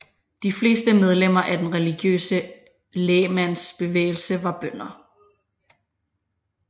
De fleste medlemmer af den religiøse lægmandsbevægelse var bønder